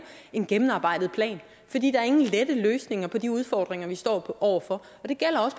en gennemarbejdet plan fordi der ingen lette løsninger er på de udfordringer vi står over for